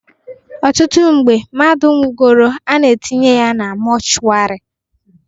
Ọtụtụ oge mmadu nwugoro, a na-etinye ya na mọchwarị